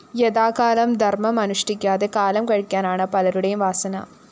യഥാകാലം ധര്‍മം അനുഷ്ഠിക്കാതെ കാലം കഴിക്കാനാണ് പലരുടേയും വാസന